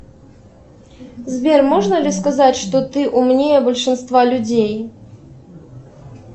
сбер можно ли сказать что ты умнее большинства людей